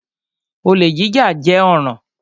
Olè jíjà jẹ́ ọ̀ràn.